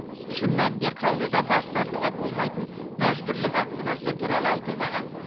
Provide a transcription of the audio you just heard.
шын мәнінде қаулыда бас тартуға болмайтын мәжбүрлі вакцинация туралы айтылмаған